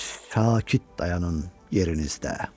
Sakit dayanın yerinizdə.